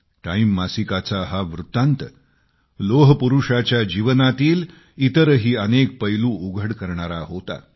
time मासिकाचा हा वृत्तांत लोहपुरुषाच्या जीवनातील इतरही अनेक पैलू उघड करणारा होता